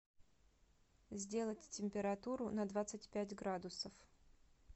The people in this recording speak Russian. сделать температуру на двадцать пять градусов